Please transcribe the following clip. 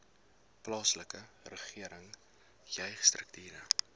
plaaslike regering jeugstrukture